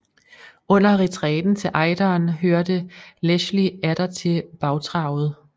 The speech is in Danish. Under retræten til Ejderen hørte Leschly atter til bagtravet